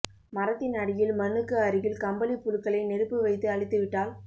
மரத்தின் அடியில் மண்ணுக்கு அருகில் கம்பளிப்புழுக்களை நெருப்பு வைத்து அழித்து விட்டால்